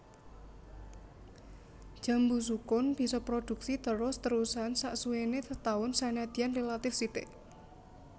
Jambu sukun bisa prodhuksi terus terusan saksuwéné setaun senadyan rélatif sithik